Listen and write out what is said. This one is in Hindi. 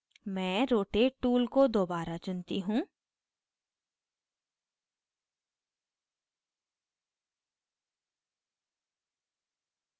मैं rotate tool को दोबारा चुनती हूँ